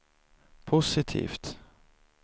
positivt